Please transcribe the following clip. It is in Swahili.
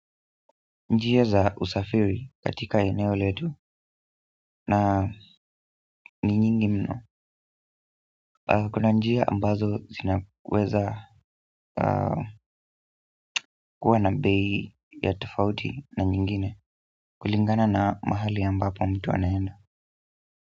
Njia za usafiri katika eneo letu na ni nyingi mno kuna njia ambazo zinaweza kuwa na bei za tofauti na nyingine kulingana na mahali ambapo mtu anaenda.